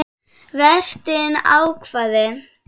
Vertinn hváði.